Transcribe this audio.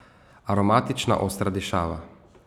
Aromatična, ostra dišava.